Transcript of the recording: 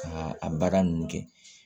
Ka a baara ninnu kɛ